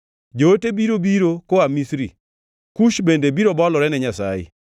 Joote biro biro koa Misri; Kush bende biro bolore ne Nyasaye.